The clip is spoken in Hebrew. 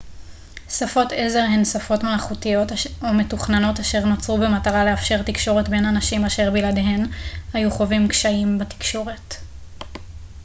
שפות עזר הן שפות מלאכותיות או מתוכננות אשר נוצרו במטרה לאפשר תקשורת בין אנשים אשר בלעדיהן היו חווים קשיים בתקשורת